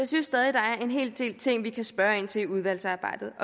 synes stadig der er en hel del ting vi kan spørge ind til i udvalgsarbejdet